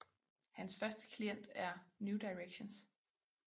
Hans første klient er New Directions